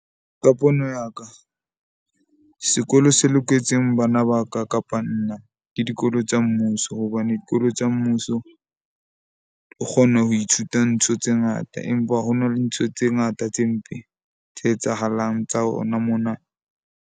Ka pono ya ka sekolo se loketseng bana ba ka kapa nna ke dikolo tsa mmuso, hobane dikolo tsa mmuso o kgona ho ithuta ntho tse ngata, empa ho na le ntho tse ngata tse mpe tse etsahalang tsa hona mona.